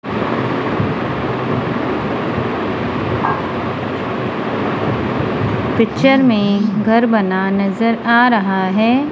Picture में घर बना नज़र आ रहा है।